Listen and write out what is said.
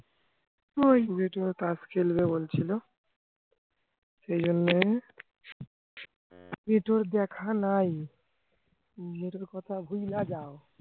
তাস খেলবে বলছিলো এই জন্য টিটোর দেখা নাই কথা ভুইল্লা যাও